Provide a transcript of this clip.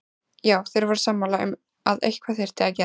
Já, þeir voru sammála um að eitthvað þyrfti að gera.